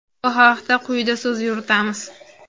Bu haqda quyida so‘z yuritamiz.